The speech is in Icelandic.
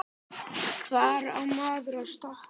Hvaða massa túrismi er þetta?